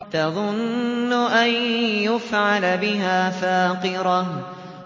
تَظُنُّ أَن يُفْعَلَ بِهَا فَاقِرَةٌ